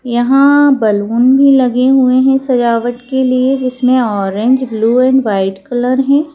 यहां बलून भी लगे हुए हैं सजावट के लिए जिसमें orange blue and white colour है।